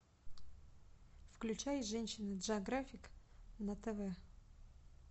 включай женщина джеографик на тв